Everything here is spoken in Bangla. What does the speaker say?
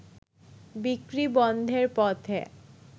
বিক্রি বন্ধের পথে